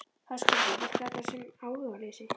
Höskuldur: Virkar þetta sem áhugaleysi?